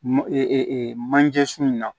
Mɔ manje sun in na